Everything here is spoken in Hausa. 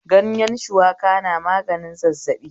Ganyen shuwaka na maganin zazzaɓi